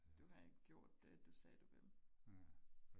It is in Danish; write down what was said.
du ved gjort det du sagde du ville